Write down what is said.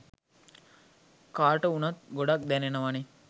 කාට වුණත් ගොඩක් දැනෙනවනෙ.